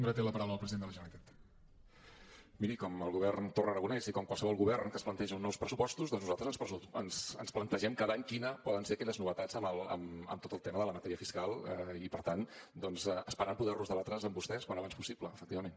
miri com el govern torra aragonès i com qualsevol govern que es plantegi uns nous pressupostos doncs nosaltres ens plantegem cada any quines poden ser aquelles novetats en tot el tema de la matèria fiscal i per tant doncs esperant poder los debatre amb vostès al més aviat possible efectivament